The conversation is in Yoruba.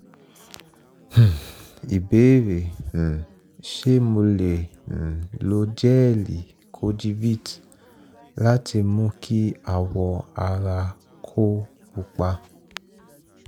um ìbéèrè: um ṣé mo lè um lo jẹ́ẹ̀li kojivit láti mú kí awọ ara tó pupa?